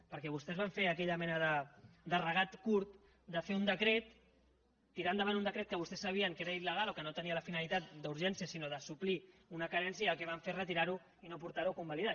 perquè vostès van fer aquella mena de regateig curt de fer un decret tirar endavant un decret que vostès sabien que era il·legal o que no tenia la finalitat d’urgència sinó de suplir una carència i el que van fer és retirar ho i no portar ho a convalidar